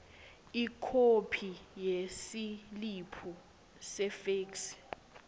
ikhophi yesiliphu sefeksi